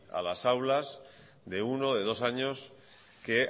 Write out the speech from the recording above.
a las aulas de uno de dos años que